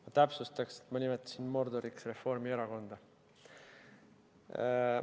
Ma täpsustaksin, et nimetasin Mordoriks Reformierakonda.